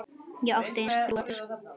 Ég átti aðeins þrjú eftir.